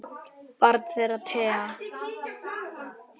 Barn þeirra Thea.